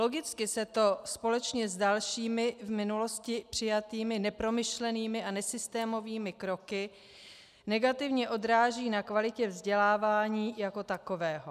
Logicky se to společně s dalšími v minulosti přijatými nepromyšlenými a nesystémovými kroky negativně odráží na kvalitě vzdělávání jako takového.